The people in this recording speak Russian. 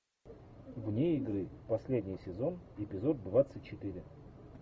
вне игры последний сезон эпизод двадцать четыре